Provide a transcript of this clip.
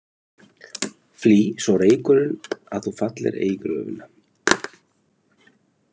Flý svo reykurinn að þú fallir ei í gröfina.